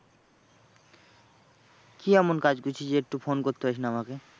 কি এমন কাজ করছিস যে একটু phone করতে পারিস না আমাকে?